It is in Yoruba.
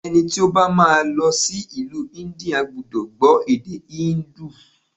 Ẹni tí ó bá má a lọ sí ìlú India gbúdọ̀ gbó èdè híńdù.